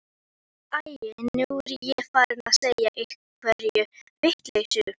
Æi, nú er ég farin að segja einhverja vitleysu.